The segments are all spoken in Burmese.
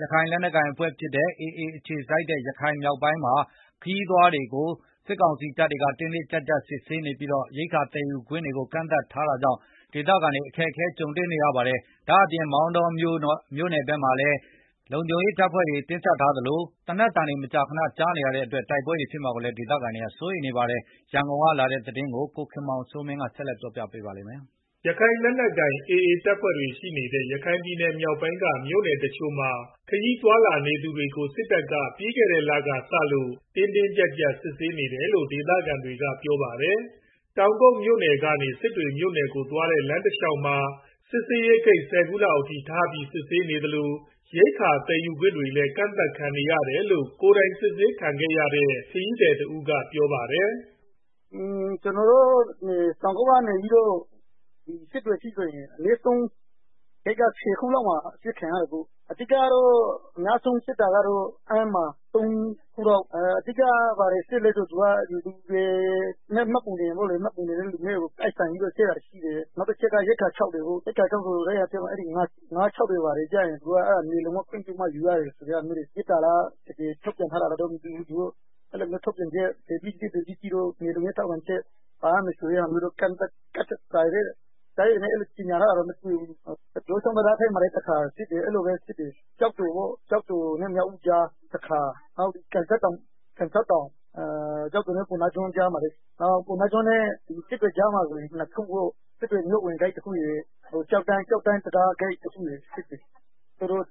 ရခိုင်လက်နက်ကိုင် AA အခြေစိုက်တဲ့ ရခိုင်မြောက်ပိုင်းမှာ ခရီးသွားတွေကို စစ်တပ်က တင်းတင်းကြပ်ကြပ်စစ်ဆေးနေပြီး ရိက္ခာသယ်ယူခွင့်ကို ကန့်သတ်ထားတာကြောင့် ဒေသခံတွေ အခက်တေ့ွနေကြပါတယ်။ ရခိုင်မြောက်ပိုင်းမှာ AA နဲ့ စစ်တပ်ကြား နားလည်မှုနဲ့ အပစ်ရပ်ထားပေမဲ့ မောင်တောမြို့နယ်ဖက်မှာဆိုရင် စစ်တပ်က လုံခြုံရေးတင်းကြပ် နေသလို သေနတ်ပစ်ခတ်သံတွေ မကြာခဏ ကြားနေရတာကြောင့် တိုက်ပွဲဖြစ်မှာ ဒေသခံတွေ က စိုးရိမ်နေကြတာပါ။ ဒီအကြောင်းအပြည့်အစုံကိုတော့ ရန်ကုန်ကလာ တဲ့သတင်းကို ကိုခင်မောင်စိုးမင်း ကတင်ပြပေးပါမယ်။ ရခိုင်လက်နက်ကိုင် AA တပ်ဖွဲ့တွေ ရှိနေတဲ့ ရခိုင်မြောက်ပိုင်းက မြို့နယ်တစ်ချို့မှာ ခရီးသွားလာသူတွေကို စစ်တပ်က ပြီးခဲ့တဲ့လကစလို့ တင်းတင်းကြပ်ကြပ် စစ်ဆေးနေတယ်လို့ ဒေသ ခံတွေက ပြောပြကြပါတယ်။ တောင်ကုတ်မြို့နယ်ကနေ စစ်တွေမြို့နယ်ကိုသွားတဲ့ လမ်းတစ် လေ ျှာက်မှာ စစ်ဆေးဂိတ် ၁၀ ခုလောက်အထိထားပြီး စစ်ဆေးနေသလို၊ ရိက္ခာ သယ်ယူခွင့်တွေလည်း ကန့်သတ်ခံရတယ်လို့ ကိုယ်တိုင်စစ်ဆေးခံခဲ့ရတဲ့ ခရီးသည်တဦးက ပြောပါတယ်။ “ တောင်ကုတ်ကနေ စစ်တွေအထိဆိုရင် အနည်းဆုံးဂိတ်ဆယ်ခုလောက်မှာ အစစ်ခံရတာပေါ့။ အဓိကကတော့ အများဆုံး စစ်တာက အမ်းမှာ ၃ ခုလောက် စစ်တယ် ။ ဘာစစ်လဲဆိုတော့ လူနဲ့ မှတ်ပုံတင်တွဲပြီး စစ်တာရှိတယ်။ နောက်ရိက္ခာခြောက်တွေ ငါးခြောက်တွေ ဘာတွေကို သူတို့က နယ်လုံရဲ့ ခွင့်ပြုချက်နဲ့မှ ယူရတယ်ဆိုပြီး ရစ်တာ။ တကယ်ထုတ်ပြန်ထားလာတော့မသိဘူး။ နယ်လုံထောက်ခံချက်ပါရမယ်ဆိုပြီး ကြေငြာထားတာလည်းမတွေ့ဘူး။ ယိုးချောင်းတံတားထိပ်မှာလည်း ၁ ခါစစ်တယ်၊ ကျောက်တော်နဲ့ မြောက်ဦးကြား ၁ ခါ၊ ကျောက်တော် ပုဏ္ဏားကျွန်းကြားက ကန်စောက်တောင်မှာလည်းစစ်တယ်၊ နောက်ပုဏ္ဏားကျွန်းနဲ့ စစ်တွေမြို့ဝင်ကြားမှာဆိုရင် ၂ ခုပေါ့၊ တော်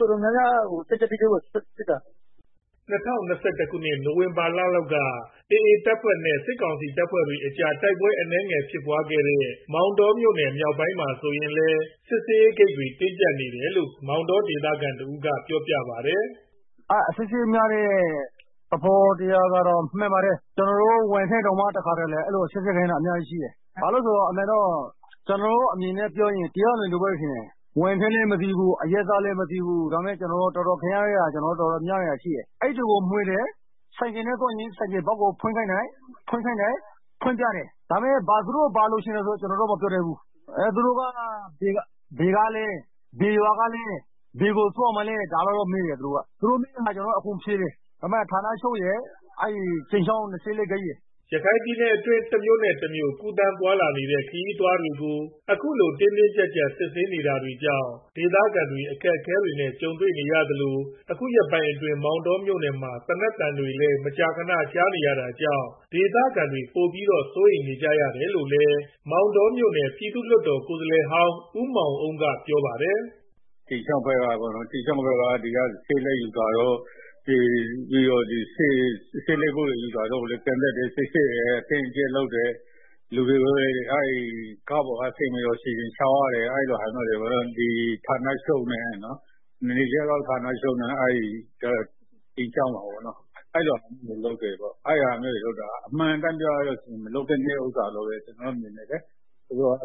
တော်များများ တင်းတင်းကြပ်ကြပ်ကိုစစ်တာ” ၂၀၂၁ခုနှစ် နိုင်ဝင်ဘာလလောက်က AA အဖွဲ့နဲ့ စစ်တပ်ကြား တိုက်ပွဲအနည်းငယ်ဖြစ်ပွားခဲ့တဲ့ မောင်တောမြို့နယ်မြောက်ပိုင်းမှာ ဆိုရင်လည်း စစ်ဆေးရေးတင်းကြပ်နေတယ်လို့ မောင်တောဒေသခံတစ်ဦးကပြောပါတယ်။ “ အစစ်အဆေးများတာကတော့မှန်ပါတယ်။ ကျနော်တို့ ဝန်ထမ်းတွေတောင်မှာ အစစ်ဆေးခံရတာ တော်တော်များများရှိတယ်၊ ကျနော်အမြင်ပြောရရင်တော့ တအားလွန်တယ်လို့ ထင်တယ်၊ ဝန်ထမ်းလည်းမသိဘူး။ အရပ်သားလည်းမသိဘူး၊ ကျနော်တို့ခံနေရတာ တော်တော်များများရှိတယ်၊ အိပ်တွေကို မွှေတယ်၊ ဆိုင်ကယ်နဲ့ သွားရင် ဆိုင်ကယ်ဘောက်တွေကို ဖွင့်ခိုင်းတယ်၊ ဖွင့်ပြတယ်။ သူတို့ဘာလိုချင်တယ်ဆိုတာတော့ ကျနော်တို့ မပြောတတ်ဘူး၊ နောက်မေးတယ်။ ဘယ်ကလည်း ဘယ်ရွာကလည်း ဘယ်ကိုသွားမှာလည်း၊ ဒါတွေမေးတယ်။ သူတို့မေးတာအကုန်ဖြေတယ်၊ ဌာနချုပ် နဲ့ ကြိမ်ချောင် ၂၄ ဂိတ် မှာစစ်တာ” ရခိုင်ပြည်နယ်အတွင်း တစ်မြို့နဲ့ တစ်မြို့ ကူးသန်းသွားလာနေတဲ့ ခရီးသွားတွေကို အခုလို တင်းတင်းကြပ်ကြပ်စစ်ဆေးနေတာတွေကြောင့် ဒေသခံတွေ အခက်အခဲကြုံနေရသလို အခုရက်ပိုင်းအတွင်း မောင်တောမြို့နယ်ဖက်မှာ သေနတ်သံတွေလည်း မကြာခဏ ကြားနေရတာကြောင့် ဒေသခံတွေပိုပြီးတော့ စိုးရိမ်နေကြတယ်လို့လည်း မောင်တော်မြို့နယ် ပြည်နယ်လွှတ်တော်ကိုယ်စားလှယ်ဟောင်း ဦးမောင်အုန်းကပြောပါတယ်။ “ ကြိမ်ချောင်းဖက်ကတော့ ဆေးလိပ်တွေယူတာကိုလည်း ကန့်သတ်တယ်၊ စစ်ဆေးတယ်။ အတင်းအကြပ်လုပ်တယ်၊ လူတွေက ကားပေါ်က ဆင်းပြီးတော့ ခြေလျင်လျှောက်ရတယ်၊ အဲလိုဟာမျိုးတွေပေါ့နော်၊ နယ်ခြားစောင့်ဌာနချုပ်နဲ့ အဲဒီကြိမ်ချောင်းမှာပေါ့နော်၊ အမှန်အတိုင်းပြောပြရင် အဲဒါမျိုးက မလုပ်သင့်တဲ့ အလုပ်ဖြစ်တယ်၊ သူတို့က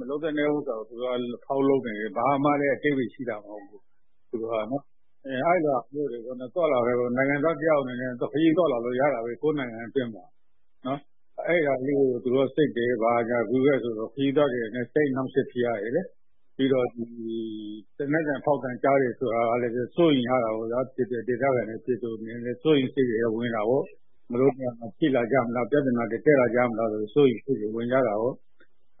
မလုပ်သင့်တဲ့ဟာကို အလာကားလျောက်လုပ်နေတယ်။ ဘာမှလည်းအဓိပ္ဗာယ်ရှိတာ မဟုတ်ဘူးနော်။ နိုင်ငံသား တစ်ယောက်အနေနဲ့ ခရီးသွားလာလို့ရတာပဲ ကိုယ့်နိုင်ငံအတွင်းမှာ အဲဒါကို စစ်တယ် ဘာညာဆိုတော့ ခရီးသွားတွေအနေနဲ့ စိတ်အနှောက်အယှက်ဖြစ်ရတယ်လေ၊ ပြီးတော့ သေနတ်ဖောက်သံတွေ ကြားရတာကလည်း ဒေသခံတွေ ပြည်သူတွေအနေနဲ့ စိုးရိမ်ရတာပေါ့ဗျာ ။ ဒီနေရာမှာ ဖြစ်လာမလား။ ပြဿနာတက်မလားဆိုပြီး စိုးရိမ်ကြတာပေါ့။”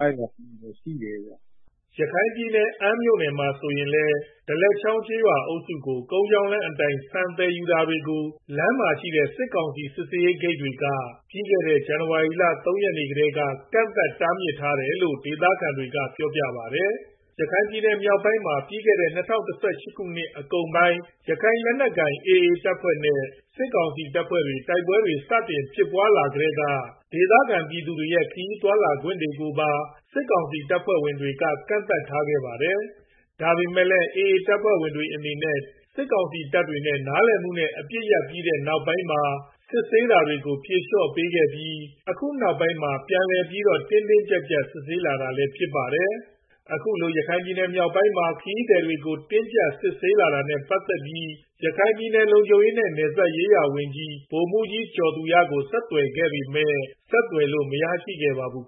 ရခိုင်ပြည်နယ် ၊ အမ်းမြို့နယ်မှာဆိုလည်း ဒလက်ချောင်းကျေးရွာအုပ်စုဘက်ကို ကုန်းလမ်းကြောင်းအတိုင်း ဆန်သယ်ယူတာတွေကို လမ်းမှာရှိတဲ့ စစ်ကောင်စီ စစ်ဆေးဂိတ်တွေက ပြီးခဲ့တဲ့ ဇန်နဝါရီလ ၃ ရက်နေ့ ကတည်းက ကန့်သတ်ထားတာဖြစ်တယ်လို့ ဒေသခံတွေက ပြောပါတယ်။ ရခိုင်ပြည်နယ်မြောက်ပိုင်းမှာ ပြီးခဲ့တဲ့ ၂၀၁၈ အကုန်ပိုင်း ရခိုင်လက်နက်ကိုင် AA အဖွဲ့ နဲ့ စစ်တပ်တို့ တိုက်ပွဲတွေ စတင်ဖြစ်ပွားကတည်းက ဒေသခံပြည်သူရဲ့ ခရီးသွားလာရေးတွေကို တပ်ဖက်က ကန့်သတ်ထားခဲ့တာပါ။ ဒါပေမယ့်လည်း AA အဖွဲ့နဲ့ တပ်မတော်တို့ကြား နားလည်မှုနဲ့ အပစ်ရပ်ပြီးတဲ့နောက်ပိုင်းမှာ စစ်ဆေးတာတွေကို ဖြေလျော့ပေးခဲ့ပြီး အခုနောက်ပိုင်းမှာ ပြန်ပြီးတော့ တင်းတင်းကြပ်ကြပ် စစ်ဆေးလာတာလည်းဖြစ်ပါတယ်။ အခုလို ရခိုင်မြောက်ပိုင်းမှာ ခရီးသည်တွေကို တင်းကြပ်စစ်ဆေးလာတာနဲ့ ပတ်သတ်ပြီး ရခိုင်ပြည်နယ် လုံခြုံရေးနဲ့ နယ်စပ်ရေးရာဝန်ကြီး ဗိုလ်မှူးကြီး ကျော်သူရကို ဆက်သွယ်ခဲ့ ပေမယ့် ဆက်သွယ်လို့ မရခဲ့ပါဘူး။